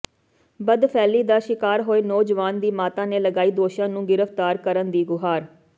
ਬਦਫੈਲੀ ਦਾ ਸ਼ਿਕਾਰ ਹੋਏ ਨੌਜਵਾਨ ਦੀ ਮਾਤਾ ਨੇ ਲਗਾਈ ਦੋਸ਼ੀਆਂ ਨੂੰ ਗਿ੍ਫਤਾਰ ਕਰਨ ਦੀ ਗੁਹਾਰ